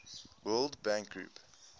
world bank group